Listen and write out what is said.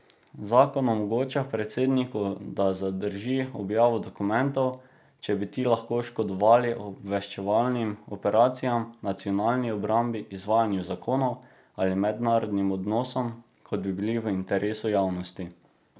Zakon omogoča predsedniku, da zadrži objavo dokumentov, če bi ti lahko bolj škodovali obveščevalnim operacijam, nacionalni obrambi, izvajanju zakonov ali mednarodnim odnosom, kot bi bili v interesu javnosti.